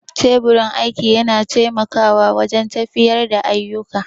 Teburin aiki yana taimakawa wajen tafiyar da ayyuka